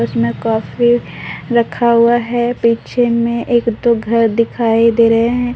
इसमें कॉफी रक्खा हुआ है पीछे में एक दो घर दिखाई दे रहें हैं।